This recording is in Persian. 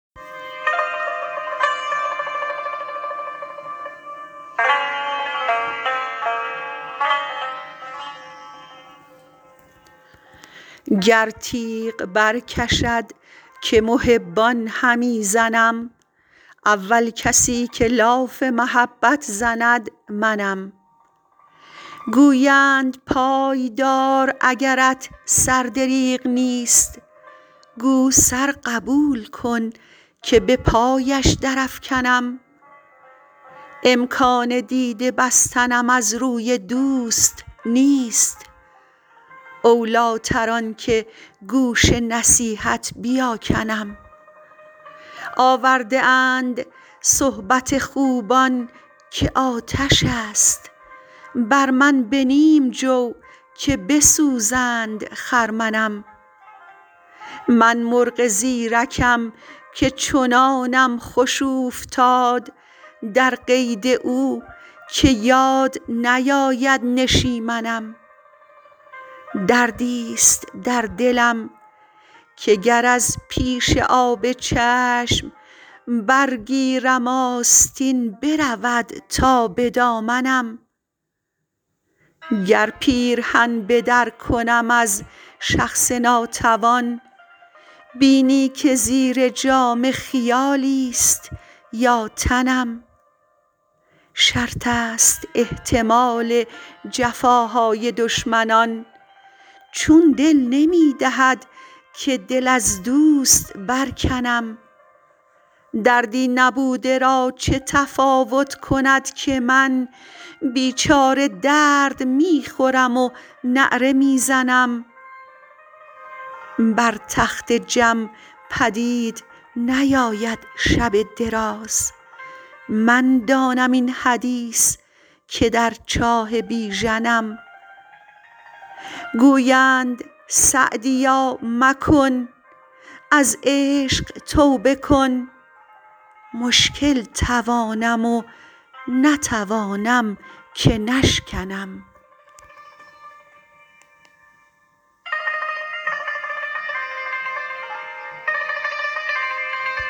گر تیغ برکشد که محبان همی زنم اول کسی که لاف محبت زند منم گویند پای دار اگرت سر دریغ نیست گو سر قبول کن که به پایش درافکنم امکان دیده بستنم از روی دوست نیست اولیتر آن که گوش نصیحت بیاکنم آورده اند صحبت خوبان که آتش است بر من به نیم جو که بسوزند خرمنم من مرغ زیرکم که چنانم خوش اوفتاد در قید او که یاد نیاید نشیمنم دردیست در دلم که گر از پیش آب چشم برگیرم آستین برود تا به دامنم گر پیرهن به در کنم از شخص ناتوان بینی که زیر جامه خیالیست یا تنم شرط است احتمال جفاهای دشمنان چون دل نمی دهد که دل از دوست برکنم دردی نبوده را چه تفاوت کند که من بیچاره درد می خورم و نعره می زنم بر تخت جم پدید نیاید شب دراز من دانم این حدیث که در چاه بیژنم گویند سعدیا مکن از عشق توبه کن مشکل توانم و نتوانم که نشکنم